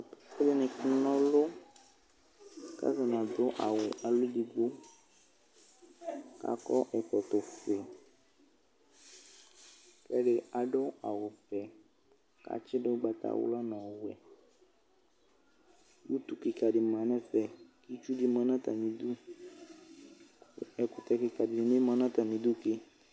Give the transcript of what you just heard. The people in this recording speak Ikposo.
Alʋ kana ɔlʋ alʋ ni adʋ awʋ edigbo kakɔ ɛkɔtɔfue ɛdi adʋ awʋvɛ kʋ atsidʋ ʋgbatawla nʋ ɔvɛ utu kikadi manʋ ɛfɛ itsudi manʋ atami idʋ ɛkʋtɛ tadini manʋ atami idʋ ke